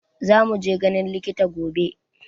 Za mu je ganin likita gobe